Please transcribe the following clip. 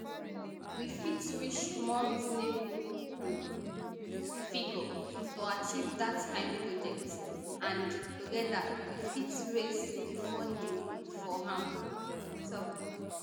we fit reach more reasonable um figure to achieve dat kain project and togeda we fit raise di funding for am e tok